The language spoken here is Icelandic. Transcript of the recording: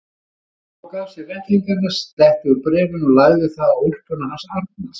Hún tók af sér vettlingana, slétti úr bréfinu og lagði það á úlpuna hans Arnars.